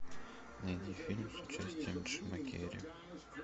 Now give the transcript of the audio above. найди фильм с участием джима керри